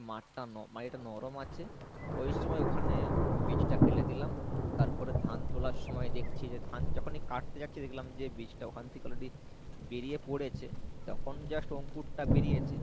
মাঠটা ন মানে এটা নরম আছে ওই সময় ওখানে বীজটা ফেলে দিলাম তারপরে ধান তোলার সময় দেখছি যে ধান যখনি কাটতে যাচ্ছি দেখলাম যে বীজটা ওখান থেকে already বেরিয়ে পড়েছে তখন just অংকুরটা বেরিয়েছে।